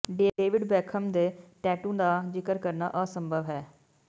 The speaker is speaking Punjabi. ਡੇਵਿਡ ਬੇਖਮ ਦੇ ਟੈਟੂ ਦਾ ਜ਼ਿਕਰ ਕਰਨਾ ਅਸੰਭਵ ਹੈ